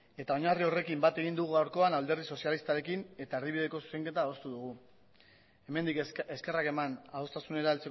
eta oinarri horrekin bat egin dugu gaurkoan alderdi sozialistarekin eta erdibideko zuzenketa adostu dugu hemendik eskerrak eman adostasunera